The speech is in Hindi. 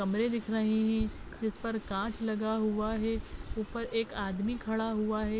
कमरे दिख रहे है इस पर काँच लगा हुआ है ऊपर एक आदमी खड़ा हुआ है।